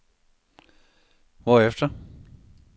hvorefter